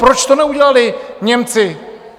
Proč to neudělali Němci?